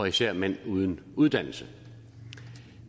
især mænd uden uddannelse